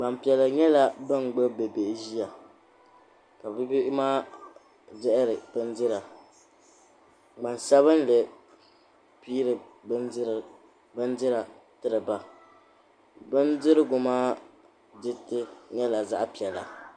Gbampiɛla nyɛla ban gbubi bibihi ʒiya ka bihi maa diɛhiri bindira gbansabinli m-piiri bindira tiri ba bindirigu maa diriti nyɛla zaɣ'piɛla.